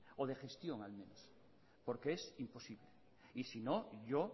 o de gestión al menos porque es imposible y si no yo